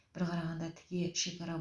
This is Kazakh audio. бір қарағанда тіке шекара